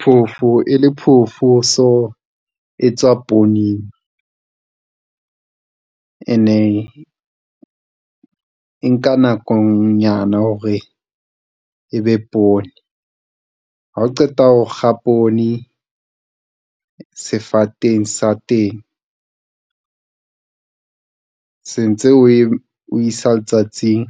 Phofo e le phofo, so e tswa pooneng and e nka nako nyana hore e be poone ha o qeta ho kga poone sefateng sa teng. Se ntse o isa letsatsing